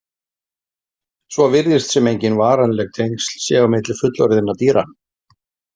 Svo virðist sem engin varanleg tengsl séu á milli fullorðinna dýra.